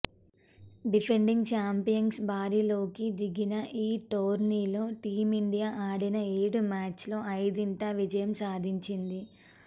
defending ఛాంపియన్స్గా బరిలోకి దిగిన ఈ టోర్నీలో టీమిండియా ఆడిన ఏడు మ్యాచ్ల్లో ఐదింట విజయం సాధించింది